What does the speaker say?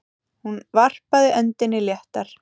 Hún varpaði öndinni léttar.